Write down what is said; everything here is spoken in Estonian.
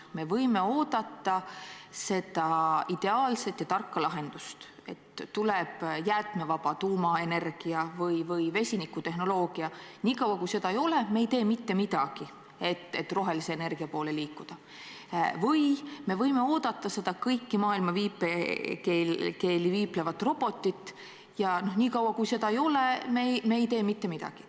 Me võime oodata seda ideaalset ja tarka lahendust, et tuleb jäätmevaba tuumaenergia või vesinikutehnoloogia, ning niikaua, kui seda ei ole, me ei tee mitte midagi, et rohelise energia poole liikuda, või me võime oodata seda kõiki maailma viipekeeli viiplevat robotit ja niikaua, kui seda ei ole, me ei tee mitte midagi.